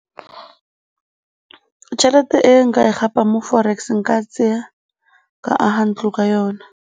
Tšhelete e nka e gapang mo forex nka e tsaya ka aga ntlo ka yona.